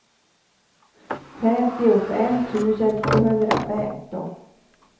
femtiofem tusen tvåhundrafemton